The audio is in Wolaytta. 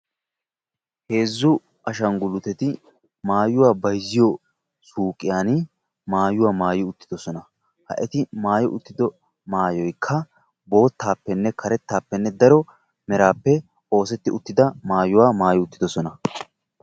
Heezzu ashangguluuteti maayuwa bayzziyo suqqiyaan maayua maayi uttidoosona. Ha eti maayi uttido maayoykka boottappenne karettappe daro meraappe oosettida maayuwa maayi uttidoosona.